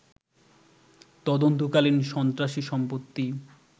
তদন্তকালীন সন্ত্রাসী সম্পত্তি